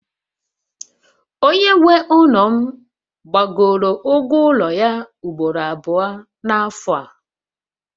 Onye nwe ụlọ m gbagoro ụgwọ ụlọ ya ugboro abụọ n'afọ a